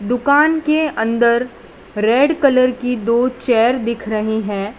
दुकान के अंदर रेड कलर की दो चेयर दिख रही हैं।